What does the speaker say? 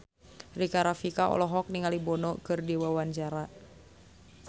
Rika Rafika olohok ningali Bono keur diwawancara